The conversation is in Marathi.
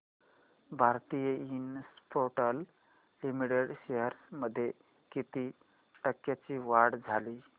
भारती इन्फ्राटेल लिमिटेड शेअर्स मध्ये किती टक्क्यांची वाढ झाली